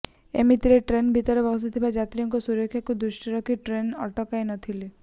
ଏମିତିରେ ଟ୍ରେନ୍ ଭିତରେ ବସିଥିବା ଯାତ୍ରୀଙ୍କ ସୁରକ୍ଷାକୁ ଦୃଷ୍ଟିରେ ରଖି ଟ୍ରେନ୍କୁ ଅଟକାଇ ନଥିଲି